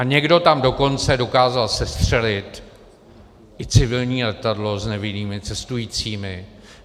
A někdo tam dokonce dokázal sestřelit i civilní letadlo s nevinnými cestujícími.